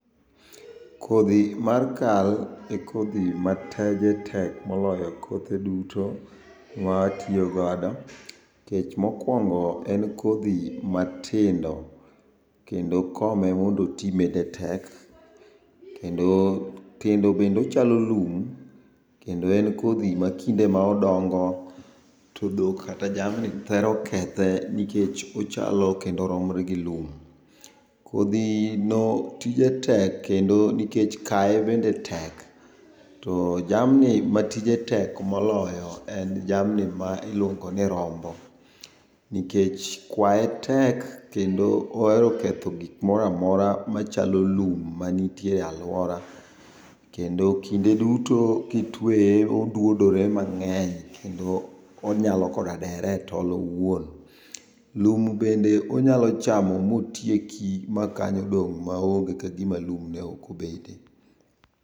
Kodhi mar kal e kodhi ma tije tek moloyo kothe duto mawatiyogodo. Kech mokwongo en kodhi matindo, kendo kome mondo oti bende tek. Kendo bendochalo lum, kendo en kodhi ma kinde ma odongo, to dhok kata jamni thero kethe nikech ochalo kendo oromre gi lum. Kodhino tije tek nikech kaye bende tek. To jamni ma tije tek moloyo en jamni ma iluongo ni rombo. Nikech kwaye tek kendo ohero keth gik moramora machalo lum manitie e alwora. Kendo kinde duto kitweye odwodore mang'eny kendo onyalo koda dere e tol owuon. Lum bende onyalo chamo motieki ma kanyo dong' maonge kagima lum ne ok obete.